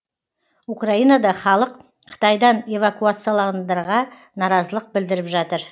украинада халық қытайдан эвакуацияландырға наразылық білдіріп жатыр